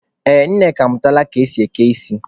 Ee, Nneka amụtala ka esi eke ísí.